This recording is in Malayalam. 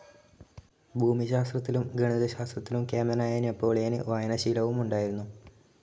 ഭൂമിശാസ്ത്രത്തിലും ഗണിതശാസ്ത്രത്തിലെ കേമനായ നെപ്പോളിയനു വായനാശീലവും ഉണ്ടായിരുന്നു,.